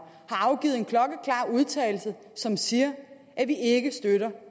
har afgivet en klokkeklar udtalelse som siger at vi ikke støtter